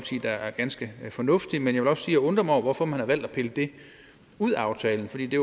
synes er er ganske fornuftig men jeg vil også jeg undrer mig over hvorfor man har valgt at pille det ud af aftalen fordi det